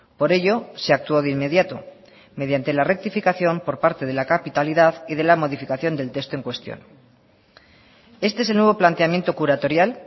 por ello se actuó de inmediato mediante la rectificación por parte de la capitalidad y de la modificación del texto en cuestión este es el nuevo planteamiento curatorial